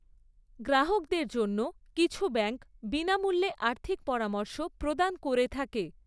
গ্রাহকদের জন্য কিছু ব্যাঙ্ক বিনামূল্যে আর্থিক পরামর্শ প্রদান করে থাকে।